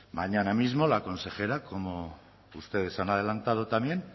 mañana mismo la consejera como ustedes han adelantado también